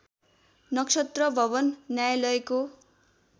नक्षत्रभवन न्यायालयको